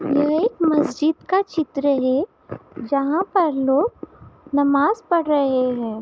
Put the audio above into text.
ये एक मस्जिद का चित्र है जहाँ पर लोग नमाज पड़ रहे हैं।